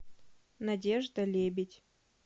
надежда лебедь